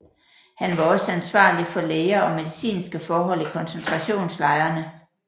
Han var også ansvarlig for læger og medicinske forhold i koncentrationslejrene